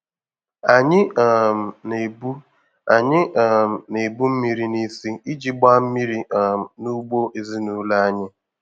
Anyị um na-ebu Anyị um na-ebu mmiri n'isi iji gbaa mmiri um n'ugbo ezinụlọ anyị.